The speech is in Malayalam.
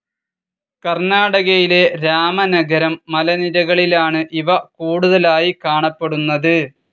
കർണ്ണാടകയിലെ രാമനഗരം മലനിരകളിലാണ് ഇവ കൂടുതലായി കാണപ്പെടുന്നത്.